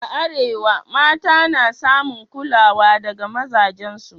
A Arewa, mata na samun kulawa daga mazajensu